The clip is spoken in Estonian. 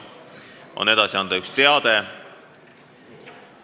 On edasi anda üks teade.